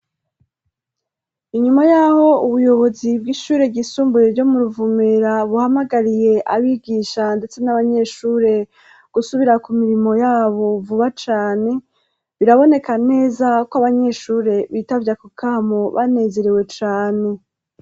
Inyuma yaho ubuyobozi bw'ishure ryisumbure ryo mu Ruvumera buhamagariye abigisha ndetse n'abanyeshure gusubira ku mirimo yabo vuba cane, biraboneka neza ko abanyeshure bitavye ako kamo banezerewe cane.